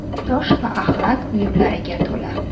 Tosh va axlat uyumlariga to‘la.